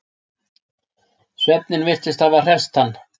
Svefninn virtist hafa hresst hann.